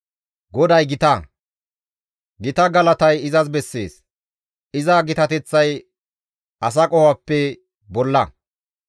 GODAY gita; gita galatay izas bessees; iza gitateththay asa qofappe bolla.